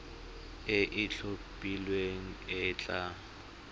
e e itlhophileng e tla